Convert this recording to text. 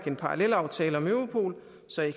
en parallelaftale om europol